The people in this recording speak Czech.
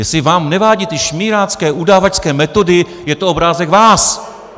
Jestli vám nevadí ty šmírácké, udavačské metody, je to obrázek vás.